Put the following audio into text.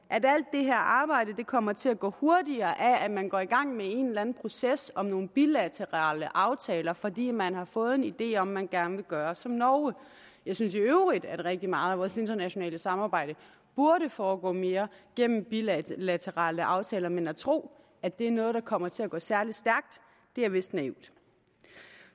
det her arbejde kommer til at gå hurtigere af at man går i gang med en eller anden proces om nogle bilaterale aftaler fordi man har fået en idé om at man gerne vil gøre som norge jeg synes i øvrigt at rigtig meget af vores internationale samarbejde burde foregå mere gennem bilaterale aftaler men at tro at det er noget der kommer til at gå særlig stærkt er vist naivt